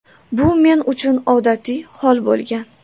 Bu men uchun odatiy hol bo‘lgan”.